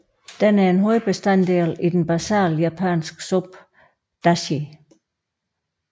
Den er en hovedbestanddel i den basale japanske suppe dashi